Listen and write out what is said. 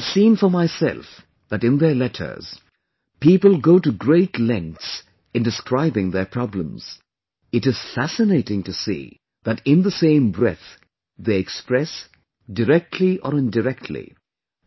I have seen for myself that in their letters, people go to great lengths in describing their problems; it is fascinating to see that in the same breath, they express directly or indirectly,